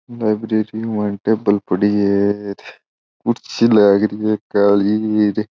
लाइब्रेरी में टेबिल पड़ी है कुर्सी लागरी है काली र --